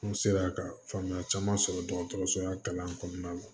N sera ka faamuya caman sɔrɔ dɔgɔtɔrɔso la kalan kɔnɔna la